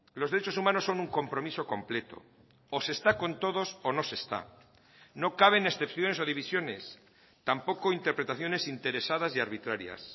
los derechos humanos son un compromiso completo o se está con todos o no se está no caben excepciones o divisiones tampoco interpretaciones interesadas y arbitrarias